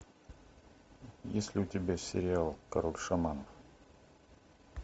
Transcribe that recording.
есть ли у тебя сериал король шаманов